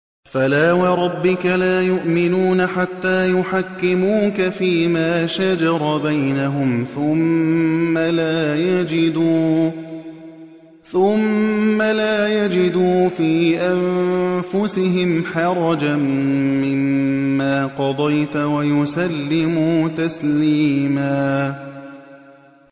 فَلَا وَرَبِّكَ لَا يُؤْمِنُونَ حَتَّىٰ يُحَكِّمُوكَ فِيمَا شَجَرَ بَيْنَهُمْ ثُمَّ لَا يَجِدُوا فِي أَنفُسِهِمْ حَرَجًا مِّمَّا قَضَيْتَ وَيُسَلِّمُوا تَسْلِيمًا